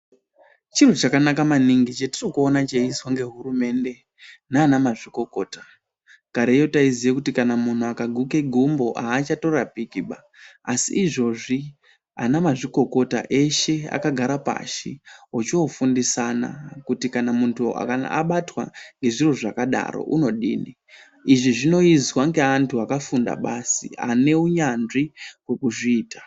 Chiro chakanaka maningi chatirikuona cheizwa ngehurumende nanamazvikokota kareyo taiziye kuti kana munhu akaguke gumbo achatorapikiba asi izvozvi ana mazvikokota eshe akagara pashi ochofundisana kuti kana muntu abatwa ngezviro zvakadaro unodini izvi zvinoizwa ngeanhu akafunda basi aneunyanzvi hwekuzviita.